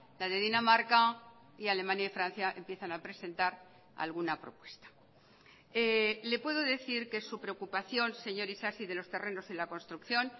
la de dinamarca y alemania y francia empiezan a presentar alguna propuesta le puedo decir que su preocupación señor isasi de los terrenos en la construcción